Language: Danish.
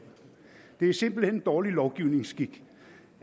det er simpelt hen dårlig lovgivningsskik